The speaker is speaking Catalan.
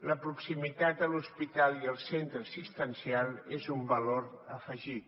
la proximitat a l’hospital i al centre assistencial és un valor afegit